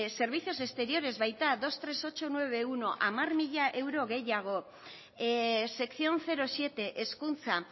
servicios exteriores baita hogeita hiru mila zortziehun eta laurogeita hamaika hamar mila euro gehiago sección siete hezkuntza